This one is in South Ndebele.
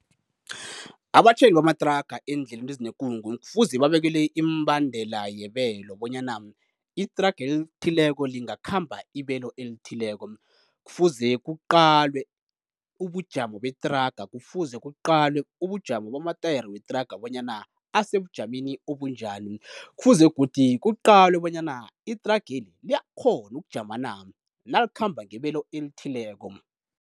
Abatjhayeli bamathraga eendleleni ezinekungu kufuze babekelwe iimibandela yebelo, bonyana ithraga elithileko lingakhamba ibelo elithileko, kufuze kuqalwe ubujamo bethraga, kufuze kuqalwe ubujamo bamatayere wethraga bonyana asebujameni obunjani, kufuze godi kuqalwe bona ithrageli liyakghona ukujama na, nalikhamba ngebelo elithileko.